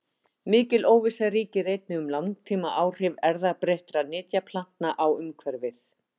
Mikil óvissa ríkir einnig um langtímaáhrif erfðabreyttra nytjaplantna á umhverfið.